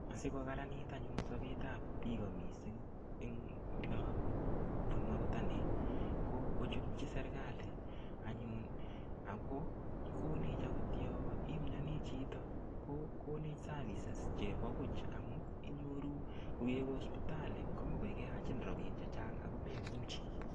Asikokararanit anyun sobetab piko mising eng ole abunu akot ane, ko kochutyi serikali anyun ako konech akot yo imioni chito, ko konech services chebo buch amu inyoru koyekewe hospitali komuch koi keyachin rabiin chechang ako memuchi.